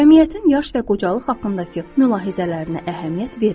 Cəmiyyətin yaş və qocalıq haqqındakı mülahizələrinə əhəmiyyət verməyin.